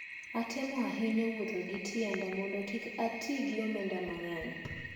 Adhitemo ahinya wuotho gi tienda mondo kik ati gi omenda mang`eny.